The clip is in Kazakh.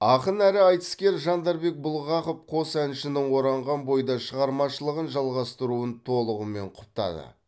ақын әрі айтыскер жандарбек бұлғақов қос әншінің оранған бойда шығармашылығын жалғастыруын толығымен құптады